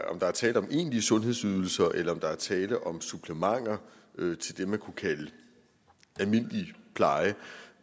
om der er tale om egentlige sundhedsydelser eller om der er tale om supplementer til det man kunne kalde almindelig pleje